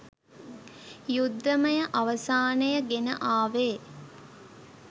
යුද්ධමය අවසානය ගෙන ආවේ